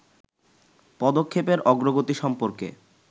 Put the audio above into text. পদক্ষেপের অগ্রগতি সম্পর্কে